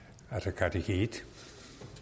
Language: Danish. hvis i et